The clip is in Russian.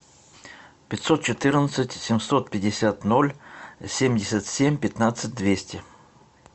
пятьсот четырнадцать семьсот пятьдесят ноль семьдесят семь пятнадцать двести